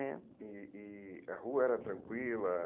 Né? E e a rua era tranquila?